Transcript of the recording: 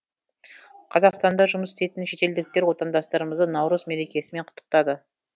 қазақстанда жұмыс істейтін шетелдіктер отандастарымызды наурыз мерекесімен құттықтады